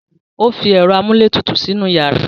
O fi ẹ̀rọ amúlétutù sínú yàrá.